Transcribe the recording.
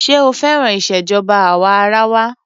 Ṣé ó féràn ìṣèjọba àwa arawa?